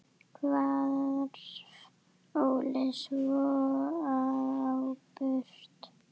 Hvarf Óli svo á braut.